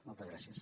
moltes gràcies